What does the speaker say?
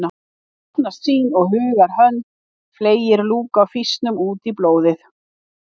Opnast sýn og hugar hönd fleygir lúku af fýsnum út í blóðið